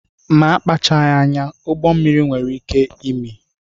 Ma a kpachaghị anya, ụgbọmmiri nwere ike imi